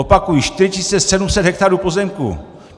Opakuji 4 700 hektarů pozemků!